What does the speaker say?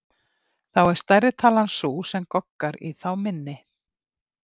Þá er stærri talan sú sem goggar í þá minni.